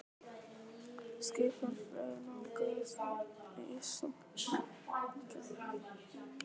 Skipin fjögur nálguðust Ísland í nöprum gráma maínæturinnar.